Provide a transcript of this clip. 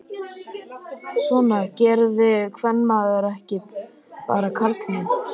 Svona gerði kvenmaður ekki, bara karlmenn.